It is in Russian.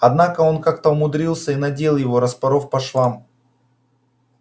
однако он как-то умудрился и надел его распоров по швам